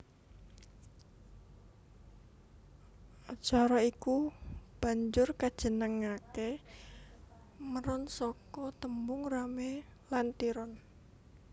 Acara iku banjur kajenengake Meron saka tembung rame lan tiron